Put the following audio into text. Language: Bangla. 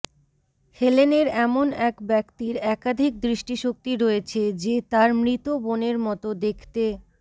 হেলেনের এমন এক ব্যক্তির একাধিক দৃষ্টিশক্তি রয়েছে যে তার মৃত বোনের মত দেখতে